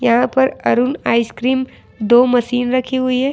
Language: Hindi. यहां पर अरुण आइसक्रीम दो मशीन रखी हुई है।